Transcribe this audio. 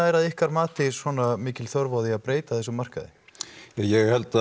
er að ykkar mati svona mikil þörf á að breyta þessum markaði ég held